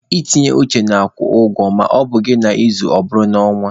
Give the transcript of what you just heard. Itinye uchu na-akwụ ụgwọ ma ọ bụghị n'izu, ọ bụrụ n'ọnwa.